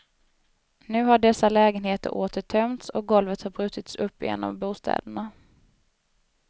Nu har dessa lägenheter åter tömts, och golvet har brutits upp i en av bostäderna.